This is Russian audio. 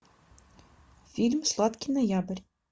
фильм сладкий ноябрь